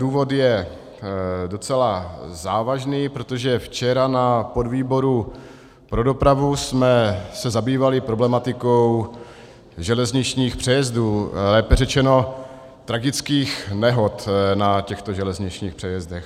Důvod je docela závažný, protože včera na podvýboru pro dopravu jsme se zabývali problematikou železničních přejezdů, lépe řečeno tragických nehod na těchto železničních přejezdech.